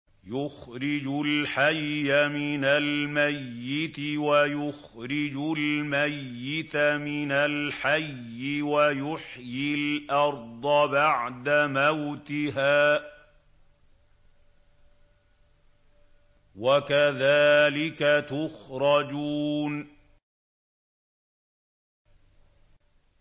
يُخْرِجُ الْحَيَّ مِنَ الْمَيِّتِ وَيُخْرِجُ الْمَيِّتَ مِنَ الْحَيِّ وَيُحْيِي الْأَرْضَ بَعْدَ مَوْتِهَا ۚ وَكَذَٰلِكَ تُخْرَجُونَ